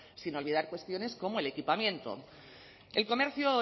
sin olvidar cuestiones como el equipamiento el comercio